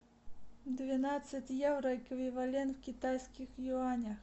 двенадцать евро эквивалент в китайских юанях